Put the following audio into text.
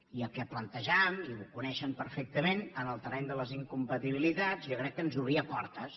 i el que plantejàvem i ho coneixen perfectament en el terreny de les incompatibilitats jo crec que ens obria portes